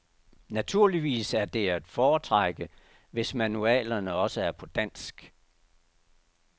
Naturligvis er det at foretrække, hvis manualerne også er på dansk.